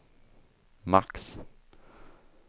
max